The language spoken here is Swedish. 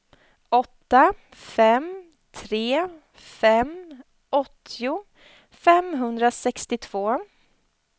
åtta fem tre fem åttio femhundrasextiotvå